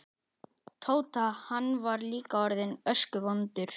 Tóta, hann var líka orðinn öskuvondur.